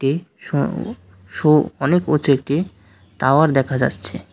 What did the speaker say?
সৌউ সো অনেক উচু একটি টাওয়ার দেখা যাচ্ছে।